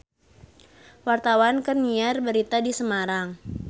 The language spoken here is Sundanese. Wartawan keur nyiar berita di Semarang